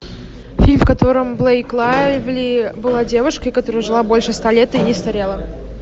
фильм в котором блейк лайвли была девушкой которая жила больше ста лет и не старела